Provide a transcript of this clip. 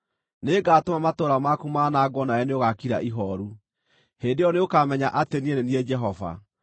Nĩngatũma matũũra maku manangwo nawe nĩũgaakira ihooru. Hĩndĩ ĩyo nĩũkamenya atĩ niĩ nĩ niĩ Jehova.